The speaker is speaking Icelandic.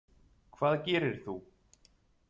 Hvað gerir þú?